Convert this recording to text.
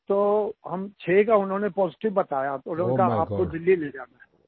तो हम छः का उन्होंने पॉजिटिव बताया तो आप उन्हें दिल्ली ले जाना है